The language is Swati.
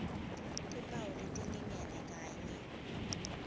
timphawu letilingene kanye